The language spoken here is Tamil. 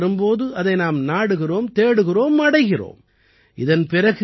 தேவை என்று வரும் போது அதை நாம் நாடுகிறோம் தேடுகிறோம் அடைகிறோம்